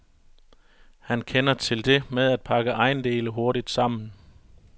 Han kender til det med at pakke ejendele hurtigt sammen.